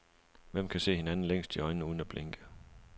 Hvem kan se hinanden længst i øjnene uden at blinke.